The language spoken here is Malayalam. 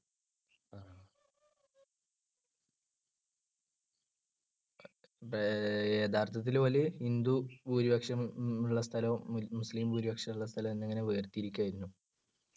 അപ്പെ~ യഥാർത്ഥത്തിൽ ഓലു ഹിന്ദു ഭൂരിപക്ഷമുള്ള സ്ഥലവും മുസ്ലീം ഭൂരിപക്ഷമുള്ള സ്ഥലവും എന്നിങ്ങനെ വേർതിരിക്കയായിരുന്നു.